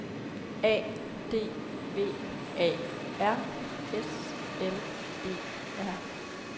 A D V A R S L E R